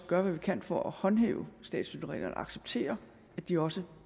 gøre hvad vi kan for at håndhæve statsstøttereglerne og acceptere at de også